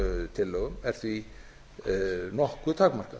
tillögum er því nokkuð takmarkað